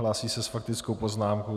Hlásí se s faktickou poznámkou.